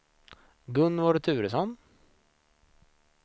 Gunvor Turesson